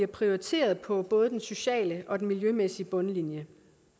prioriteres på både den sociale og den miljømæssige bundlinje